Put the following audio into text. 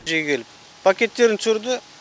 мына жерге келіп пакеттерін түсірді